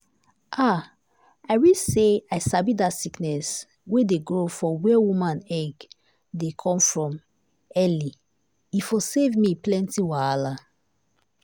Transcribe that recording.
ah i wish say i sabi that sickness wey dey grow for where woman egg dey come from early e for save me plenty wahala.